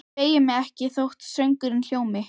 Ég beygi mig ekki þótt söngurinn hljómi: